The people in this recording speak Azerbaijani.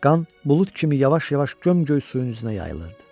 Qan bulud kimi yavaş-yavaş göm-göy suyun üzünə yayılırdı.